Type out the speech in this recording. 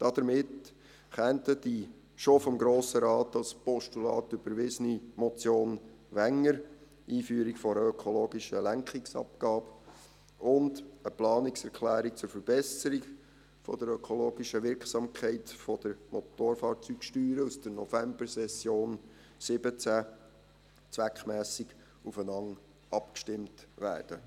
Damit könnten die schon vom Grossen Rat als Postulat überwiesene Motion Wenger zur «Einführung einer ökologischen Lenkungsabgabe» und eine Planungserklärung zur Verbesserung der ökologischen Wirksamkeit der Motorfahrzeugsteuern aus der Novembersession 2017 zweckmässig aufeinander abgestimmt werden.